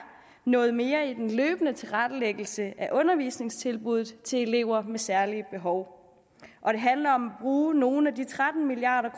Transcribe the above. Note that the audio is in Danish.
noget mere i den løbende tilrettelæggelse af undervisningstilbuddet til elever med særlige behov og det handler om at bruge nogle af de tretten milliard